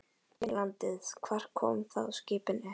Geri konungur innrás í landið, hvar koma þá skipin upp?